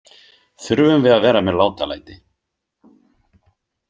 Þurfum við að vera með látalæti?